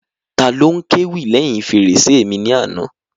Taló n kéwì lẹ́hìn fèrèsé mi ní àná?